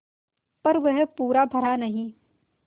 पर वह पूरा भरा नहीं